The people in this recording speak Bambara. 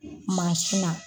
na.